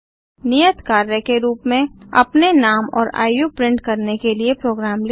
नियत कार्य के रूप में अपने नाम और आयु प्रिंट करने के लिए प्रोग्राम लिखें